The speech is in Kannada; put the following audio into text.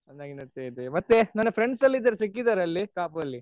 ಹಾ ಚೆನ್ನಾಗಿ ನಡೀತಾ ಇದೆ ಮತ್ತೆ ನನ್ friends ಎಲ್ಲ ಇದ್ದಾರೆ ಕಾಪುಲಿ ಸಿಕ್ಕಿದ್ರಾ ಕಾಪು ಅಲ್ಲಿ.